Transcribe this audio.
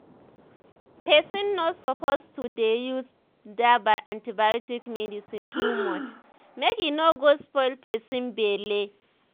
pesin no suppose to dey use dah antibiotics medicine too much mk e nor go spoil pesin belle